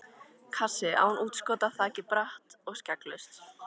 Kassi, án útskota, þakið bratt og skegglaust.